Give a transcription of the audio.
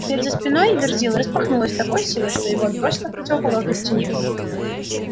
дверь за спиной верзилы распахнулась с такой силой что его отбросило к противоположной стене